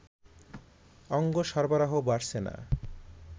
অঙ্গ সরবরাহ বাড়ছে না